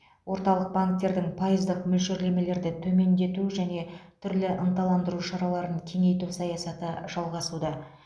орталық банктердің пайыздық мөлшерлемелерді төмендету және түрлі ынталандыру шараларын кеңейту саясаты жалғасуда